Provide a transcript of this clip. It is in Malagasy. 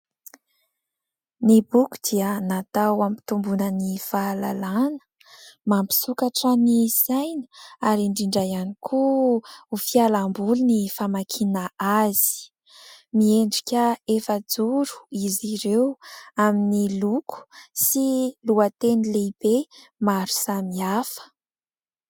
Ny boky dia natao ampitomboana ny fahalalana. Mampisokatra ny saina ary indrindra ihany koa ho fialamboly ny famakiana azy. Miendrika efajoro izy ireo amin'ny loko sy lohateny lehibe maro samihafa.